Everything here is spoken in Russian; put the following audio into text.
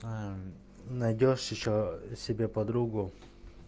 ээ найдёшь ещё себе подругу